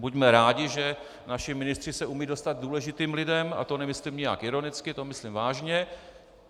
Buďme rádi, že naši ministři se umějí dostat k důležitým lidem, a to nemyslím nijak ironicky, to myslím vážně.